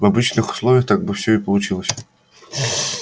в обычных условиях так бы все и получилось